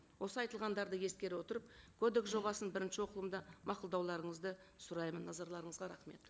осы айтылғандарды ескере отырып кодекс жобасын бірінші оқылымда мақұлдауларыңызды сұраймын назарларыңызға рахмет